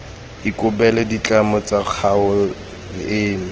ikobele ditlamelo tsa kgaolo eno